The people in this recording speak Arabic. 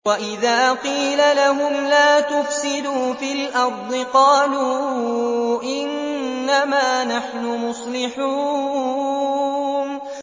وَإِذَا قِيلَ لَهُمْ لَا تُفْسِدُوا فِي الْأَرْضِ قَالُوا إِنَّمَا نَحْنُ مُصْلِحُونَ